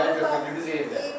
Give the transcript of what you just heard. Kirayə qaldığımız yerdə.